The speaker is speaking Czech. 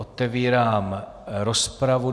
Otevírám rozpravu.